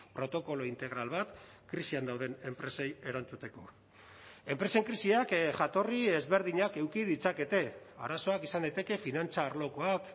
protokolo integral bat krisian dauden enpresei erantzuteko enpresen krisiak jatorri ezberdinak eduki ditzakete arazoak izan daiteke finantza arlokoak